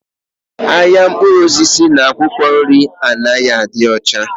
Ahịa mkpụrụ osisi na akwụkwọ nri anaghị adị ọcha.